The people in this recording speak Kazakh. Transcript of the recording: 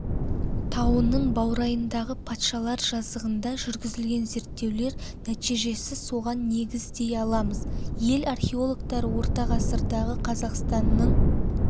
тауының баурайындағы патшалар жазығында жүргізілген зерттеулер нәтижесісоған негіз дей аламыз ел археологтары орта ғасырдағы қазақстанның